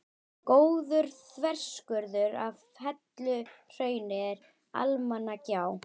Góður þverskurður af helluhrauni er í Almannagjá.